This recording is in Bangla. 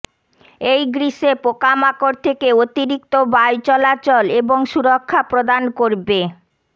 এই গ্রীষ্মে পোকামাকড় থেকে অতিরিক্ত বায়ুচলাচল এবং সুরক্ষা প্রদান করবে